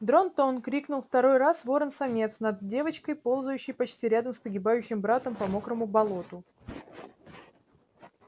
дрон-тон крикнул второй раз ворон-самец над девочкой ползающей почти рядом с погибающим братом по мокрому болоту